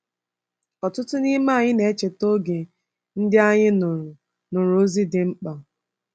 ỌTỤTỤ n’ime anyị na-echeta oge ndị anyị nụrụ nụrụ ozi dị mkpa.